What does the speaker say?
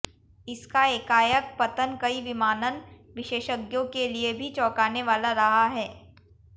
इसका एकाएक पतन कई विमानन विशेषज्ञों के लिए भी चौंकानेवाला रहा है